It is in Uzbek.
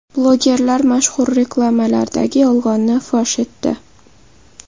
Blogerlar mashhur reklamalardagi yolg‘onni fosh etdi .